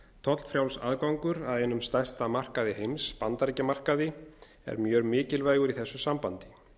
tollfrjáls aðgangur að einum stærsta markaði heims bandaríkjamarkaði er mjög mikilvægur í þessu sambandi